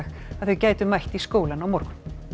að þeir geti mætt í skólann á morgun